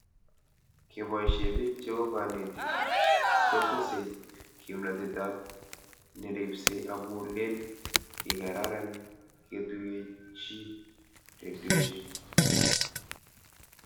Kepoishe pik cheu kanetik kotesei kimnatet ab neripsei amu len kikaran keetuyechi redioshek